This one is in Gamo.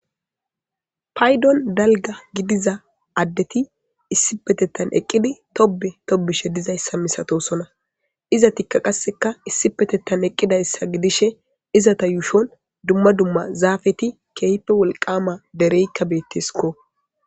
Payddon dalgga gidiza addeti issipetetan eeqiddi toobbe toobbishshe dizayssa misatossonna izettika qasekka issipetetan eeqidayssa gidishshe yuushshon dumma dumma zaafetti keehippe wolqqama dereyikka bettesikko